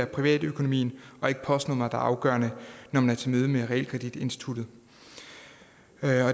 privatøkonomien og ikke postnummeret afgørende når man er til møde med realkreditinstituttet